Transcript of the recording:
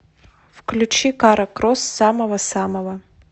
включи кара кросс самого самого